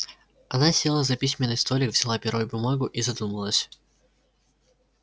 она села за письменный столик взяла перо и бумагу и задумалась